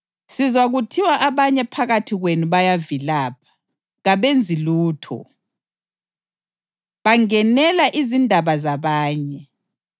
Sizwa kuthiwa abanye phakathi kwenu bayavilapha. Kabenzi lutho, bangenela izindaba zabanye.